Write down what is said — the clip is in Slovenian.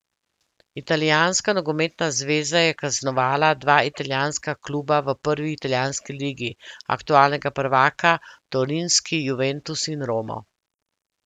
Italijanska nogometna zveza je kaznovala dva italijanska kluba v prvi italijanski ligi, aktualnega prvaka torinski Juventus in Romo.